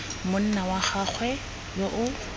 monna wa gagwe yo o